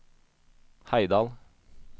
Heidal